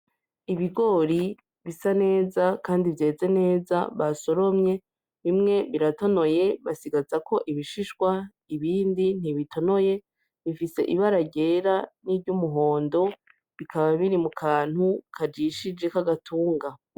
Ibigori bisa neza kandi vyeze neza basoromye, bimwe biratonoye basigazako ibishishwa, ibindi ntibitonoye, bifise ibara ryera n'iryumuhondo, bikaba biri mu kantu kajishije kagatunga.